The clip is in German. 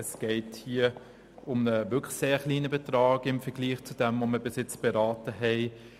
Es geht hier um einen sehr kleinen Betrag gemessen an dem, was wir bereits beraten haben.